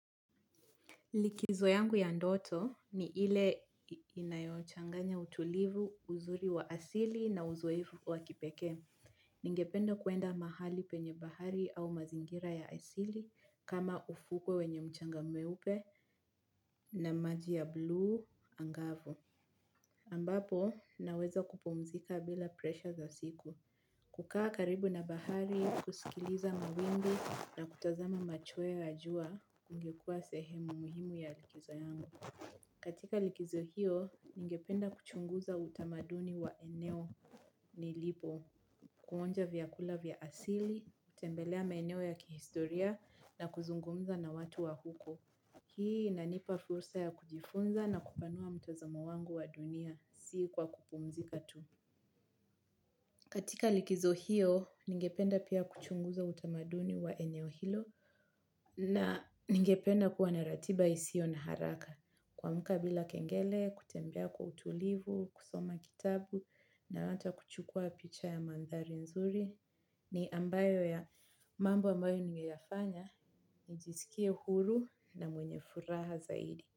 Likizo yangu ya ndoto ni ile inayochanganya utulivu uzuri wa asili na uzoefu wa kipekee. Ningependa kuenda mahali penye bahari au mazingira ya asili kama ufuko wenye mchanga mweupe na maji ya blue angavu. Ambapo naweza kupumzika bila presha za siku. Kukaa karibu na bahari, kusikiliza mawimbi na kutazama machweo ya jua ingekua sehemu muhimu ya likizo yangu. Katika likizo hiyo, ningependa kuchunguza utamaduni wa eneo nilipo, kuonja vyakula vya asili, kutembelea maeneo ya kihistoria na kuzungumza na watu wa huko. Hii inanipa fursa ya kujifunza na kupanua mtazamo wangu wa dunia si kwa kupumzika tu. Katika likizo hiyo, ningependa pia kuchunguza utamaduni wa eneo hilo na ningependa kuwa na ratiba isiyo na haraka. Kuamka bila kengele kutembea kwa utulivu kusoma kitabu na hata kuchukua picha ya maandhari nzuri ni mambo ambayo ningeyafanya nijisikie huru na mwenye furaha zaidi.